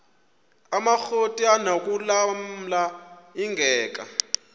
amakrot anokulamla ingeka